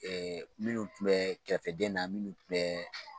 Ɛɛ minnu tun bɛ kɛrɛfɛdɛn na minnu tun bɛ